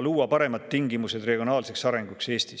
luua siin paremad tingimused regionaalseks arenguks.